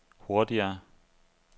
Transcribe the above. hurtigere